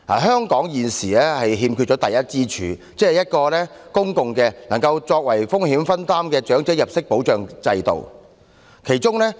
香港現時欠缺第一支柱，即公共的、能夠作為風險分擔的長者入息保障制度。